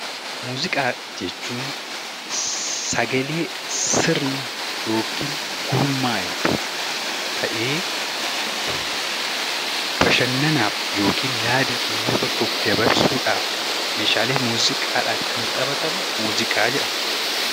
Muuziqaa jechuun sagalee sirna yookiin gurmaa'e tokko ta'ee bashannanaaf yookiin yaada uummata tokkoof dabarsuudhaaf Meeshaalee muuziqaatiin kan taphatamu muuziqaa jedhama.